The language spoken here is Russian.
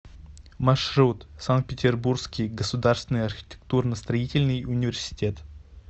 маршрут санкт петербургский государственный архитектурно строительный университет